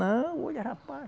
Não, olha rapaz,